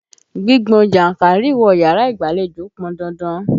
Gbígbọn jánkárìwọ̀ yàrá ìgbàlejò pọn dandan.